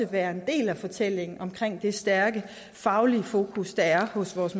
være en del af fortællingen om det stærke faglige fokus der er hos vores